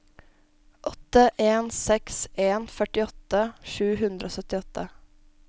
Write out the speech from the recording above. åtte en seks en førtiåtte sju hundre og syttiåtte